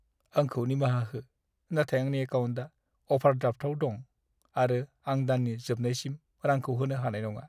आंखौ निमाहा हो, नाथाय आंनि एकाउन्टआ अभारड्राफ्टआव दं आरो आं दाननि जोबनायसिम रांखौ होनो हानाय नङा।